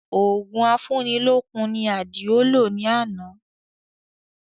Òògùn afúni lókun ni Àdìó lò ní àná